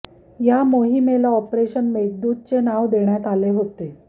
या मोहिमेला ऑपरेशन मेघदूतचे नाव देण्यात आले होते